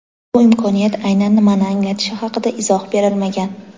Bu imkoniyat aynan nimani anglatishi haqida izoh berilmagan.